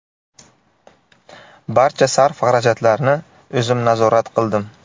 Barcha sarf-xarajatlarni o‘zim nazorat qildim.